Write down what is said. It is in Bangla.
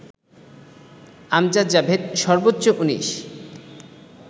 আমজাদ জাভেদ সর্বোচ্চ ১৯